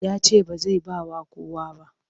Ya ce ba zai ba wa kowa ba.